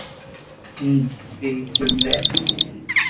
হু কি কি কিনবে